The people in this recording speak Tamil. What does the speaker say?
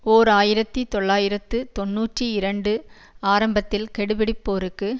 ஓர் ஆயிரத்தி தொள்ளாயிரத்து தொன்னூற்றி இரண்டு ஆரம்பத்தில் கெடுபிடிப் போருக்கு